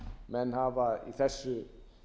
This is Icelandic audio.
menn hafa í þessu